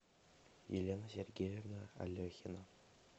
елена сергеевна алехина